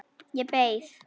Ég beið.